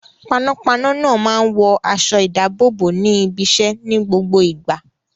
Panápaná náà máa ń wọ aṣọ-ìdáàbòbò ní ibiṣẹ́ ní gbogbo ìgbà.